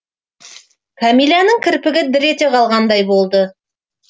кәмиләнің кірпігі дір ете қалғандай болды